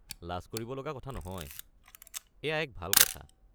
লাজ কৰিব লগা কথা নহয়, এইয়া এক ভাল কথা।